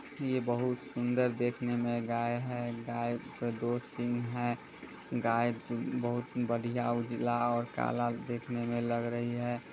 ये बहुत सुन्दर देखने मे गाय है। गाय के दो सिंग हैं गाय बहुत बढ़िया उजला और काला देखने मे लग रही है।